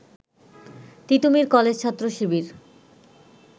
Titumir college ছাত্র শিবির